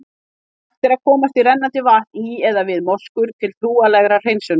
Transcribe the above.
Hægt er að komast í rennandi vatn í eða við moskur, til trúarlegrar hreinsunar.